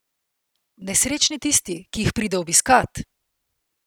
Nesrečni tisti, ki jih pride obiskat!